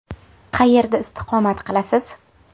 Qayerda istiqomat qilasiz?